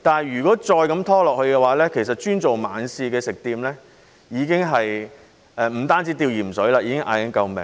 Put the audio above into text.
如果再這樣拖延下去，只經營晚市的食店不單"吊鹽水"，甚至已經在高呼救命。